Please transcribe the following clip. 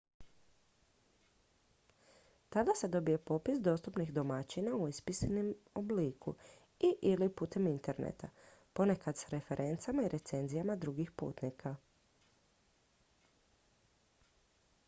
tada se dobije popis dostupnih domaćina u ispisanom obliku i/ili putem interneta ponekad s referencama i recenzijama drugih putnika